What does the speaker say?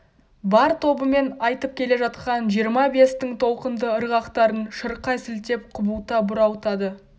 бар тобымен айтып келе жатқан жиырма-бестің толқынды ырғақтарын шырқай сілтеп құбылта бұралтады